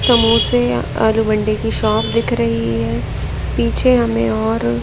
समोसे आलू मंडी की शॉप दिख रही है पीछे हमें और--